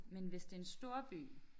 Men hvis det en storby